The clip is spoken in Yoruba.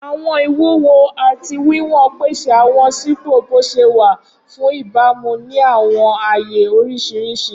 Awọn iwuwo ati wiwọn pese awọn sipo boṣewa fun ibamu ni awọn aaye oriṣiriṣi.